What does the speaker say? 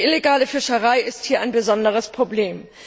Die illegale Fischerei ist hier ein besonderes Problem.